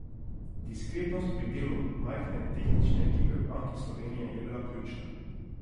Diskretnost pri delu majhne tehnične ekipe v Banki Slovenije je bila ključna.